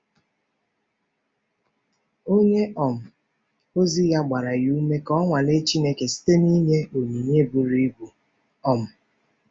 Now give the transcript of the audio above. Onye um ozi ya gbara ya ume ka o nwalee Chineke site n’inye onyinye buru ibu. um